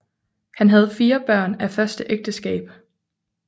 Han havde fire børn af første ægteskab